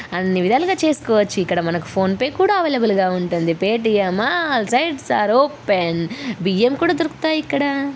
అన్ని విధాలుగా చూసుకోవచ్చు ఇక్కడ మనకి ఫోన్ పే కూడా అవైలబుల్ గా ఉంటుంది Paytm all sites are open బియ్యం కూడా దొరుకుతాయి ఇక్కడ.